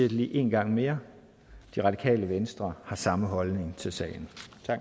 lige én gang mere det radikale venstre har samme holdning til sagen